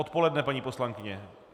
Odpoledne, paní poslankyně?